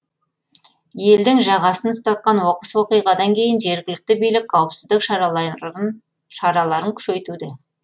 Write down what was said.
елдің жағасын ұстатқан оқыс оқиғадан кейін жергілікті билік қауіпсіздік шараларын күшейтуде